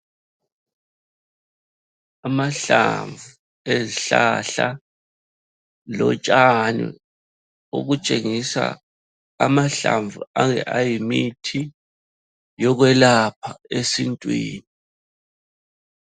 Amahlamvu ezihlahla lotshani obutshengisa amahlamvu ayimithi yokwelapha esintwini.